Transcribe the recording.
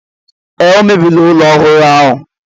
Ee, o mebiri ụlọ ọhụrụ ahụ.